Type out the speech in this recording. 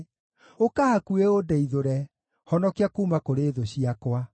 Ũka hakuhĩ ũndeithũre; honokia kuuma kũrĩ thũ ciakwa.